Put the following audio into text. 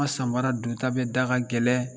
Nka Sanbara don ta bɛɛ da ka gɛlɛn